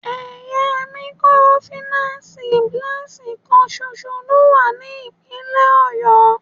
Ẹ̀ya mikorofìnánsìì Blessing kan ṣoṣo ló wà ní ìpínlè Ọ̀yọ́.